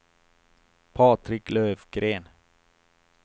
Patrik Löfgren